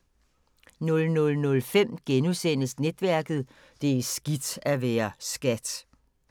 00:05: Netværket: Det er skidt at være SKAT *